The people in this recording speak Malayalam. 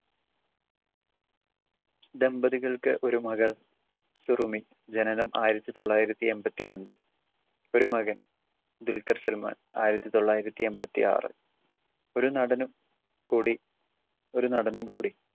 ദമ്പതികൾക്ക് ഒരു മകൾ സുറുമി ജനനം ആയിരത്തി തൊള്ളായിരത്തി എമ്പത്തിരണ്ട്‌ ഒരു മകൻ ആയിരത്തി തൊള്ളായിരത്തി എമ്പത്തിയാറ്‌. ഒരു നടനും കൂടി ഒരു നടനും കൂടി